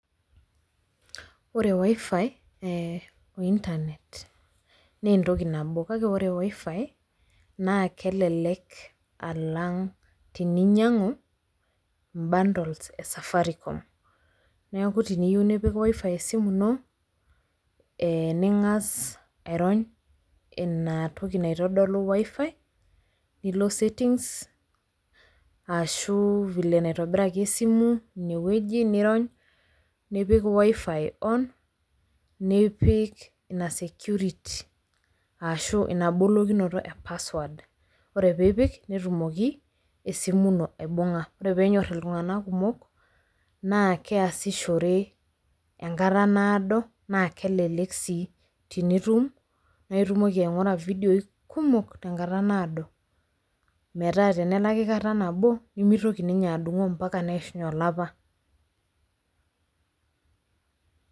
Wore wifi , eeh oointanet naa entoki nabo, kake wore wifi naa kelelek alang teninyiangu imbandols le safaricom, neeku teniyieu nipik wifi esimu ino, eh ningas airony ina toki naitodolu wifi nilo settings ashu vile naitobiraki esimu, inie woji niirony, nipik wifi on, nipik ina security ashu inabolokinoto ee password, wore pee ipik, netumoki esimu ino aibunga, wore peenyor iltunganak kumok, naa keasishore enkata naado, naa kelelek sii tenitum, naa itumoki aingura vidioi kumok tenkata naado, metaa tenelaki kata nabo, nimitoki ninye adungo ambaka neishunye olapa